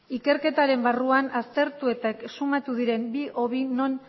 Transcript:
ikerketaren barruan aztertu eta exhumatu diren bi hobi non